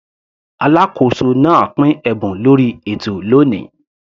Alákóso náà pín ẹ̀bùn lórí ètò lóni.